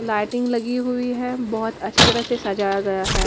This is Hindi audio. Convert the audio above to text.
लाइटिंग लगी हुई है बहुत अच्छी तरह से सजाया गया हैं।